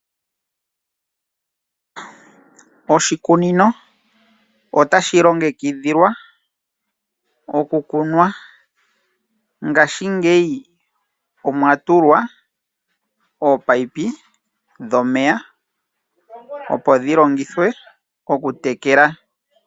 Oshikunino otashi longekidhilwa okukunwa. Ngaashingeyi omwa tulwa ominino dhomeya opo dhi longithwe okutekela.